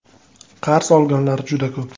Qarz olganlar juda ko‘p.